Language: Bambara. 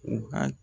U ka